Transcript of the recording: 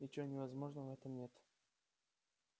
ничего невозможного в этом нет